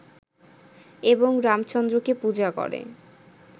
এবং রামচন্দ্রকে পূজা করে